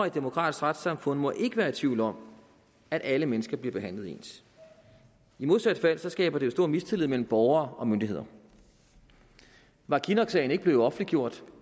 et demokratisk retssamfund må ikke være i tvivl om at alle mennesker bliver behandlet ens i modsat fald skaber det jo stor mistillid mellem borgere og myndigheder var kinnocksagen ikke blevet offentliggjort